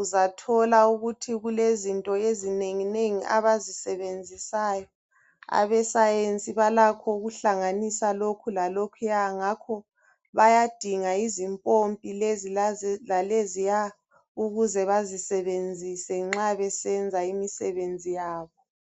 uzathola ukuthi kulezinto ezinenginengi abazisebenzisayo. Abe Science balakho ukuhlanganisa lokhu lalokhuya ngakho bayadinga izimpompi leziya laleziya ukuze bezisebenzise nxa besenza imisebenzi yabo.